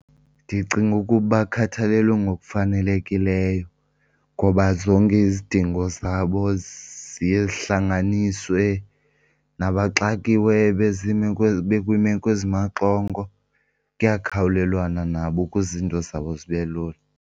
Ndicinga ukuba bakhathalelwe ngokufanelekileyo ngoba zonke izidingo zabo ziye zihlanganiswe, nabaxakiweyo bekwiimeko ezimaxongo kuyakhawulelwana nabo ukuze iinto zabo zibe lula.